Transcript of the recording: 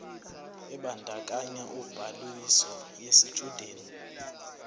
ebandakanya ubhaliso yesitshudeni